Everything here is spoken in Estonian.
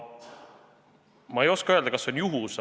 Ma ei oska öelda, kas see on juhus.